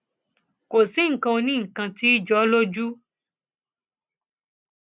kò sí nǹkan onínǹkan kan tí ì jọ ọ lójú